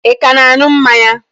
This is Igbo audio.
Ị ka na-an̄ụ mmanya?